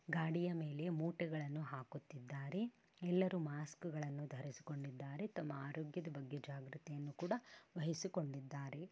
ಗಾಡಿಯ ಮೇಲೆ ಮೂಟೆಗಳನ್ನು ಹಾಕುತ್ತಿದ್ದಾರೆ ಎಲ್ಲರೂ ಮಾಸ್ಕ್ ಗಳನ್ನು ಧರಿಸಿಕೊಂಡಿದ್ದಾರೆ ತಮ್ಮ ಆರೋಗ್ಯದ ಬಗ್ಗೆ ಜಾಗೃತೆಯನ್ನು ಕೂಡ ವಹಿಸಿಕೊಂಡಿದ್ದಾರೆ.